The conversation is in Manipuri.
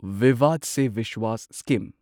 ꯚꯤꯚꯥꯗ ꯁꯦ ꯚꯤꯁ꯭ꯋꯥꯁ ꯁ꯭ꯀꯤꯝ